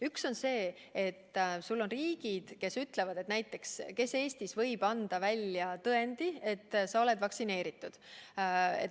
Üks on see, et riigid ütlevad, näiteks kes Eestis võib anda välja tõendi, et sa oled vaktsineeritud.